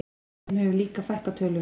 Þeim hefur líka fækkað töluvert